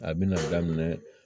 A bina daminɛ